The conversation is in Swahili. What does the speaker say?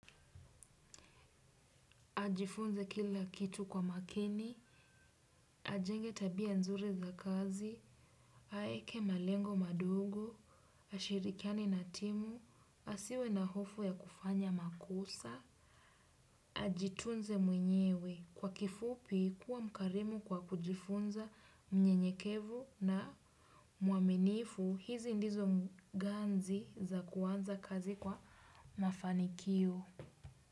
Ajifunze kila kitu kwa makini, ajenge tabia nzuri za kazi, aeke malengo madogo, ashirikiane na timu, asiwe na hofu ya kufanya makosa, ajitunze mwenyewe, kwa kifupi kuwa mkarimu kwa kujifunza mnyenyekevu na mwaminifu, hizi ndizo ganzi za kuanza kazi kwa mafanikio.